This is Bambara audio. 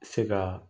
Se ka